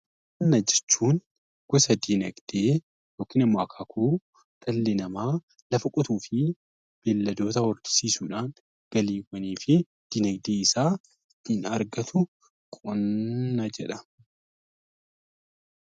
Qonna jechuun akaakuu dinagdee dhalli namaa lafa qotuu fi beeyladoota horsiisuun galiiwwanii fi dinagdee isaa ittiin argatu qonna jedhama.